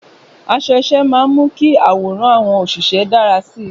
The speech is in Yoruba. Aṣọ iṣẹ́ máa ń mú kí àwòrán àwọn òṣìṣẹ́ dára sí i.